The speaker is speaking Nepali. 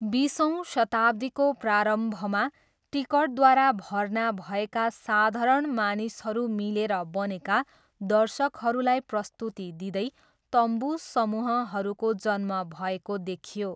बिसौँ शताब्दीको प्रारम्भमा टिकटद्वारा भर्ना भएका साधारण मानिसहरू मिलेर बनेका दर्शकहरूलाई प्रस्तुति दिँदै 'तम्बू' समूहहरूको जन्म भएको देखियो।